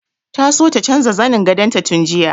Ta so ta canja zanin gadon ta tun jiya.